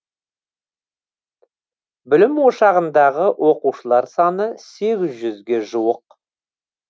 білім ошағындағы оқушылар саны сегіз жүзге жуық